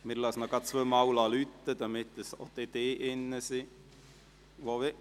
Wir lassen es noch zweimal läuten, damit dann alle im Saal sind, die wollen.